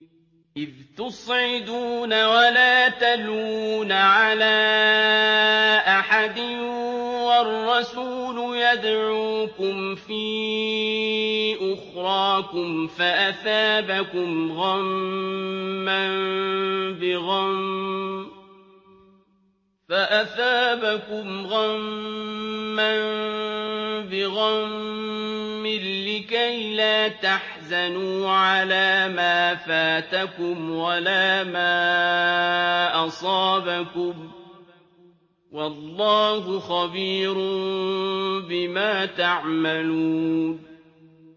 ۞ إِذْ تُصْعِدُونَ وَلَا تَلْوُونَ عَلَىٰ أَحَدٍ وَالرَّسُولُ يَدْعُوكُمْ فِي أُخْرَاكُمْ فَأَثَابَكُمْ غَمًّا بِغَمٍّ لِّكَيْلَا تَحْزَنُوا عَلَىٰ مَا فَاتَكُمْ وَلَا مَا أَصَابَكُمْ ۗ وَاللَّهُ خَبِيرٌ بِمَا تَعْمَلُونَ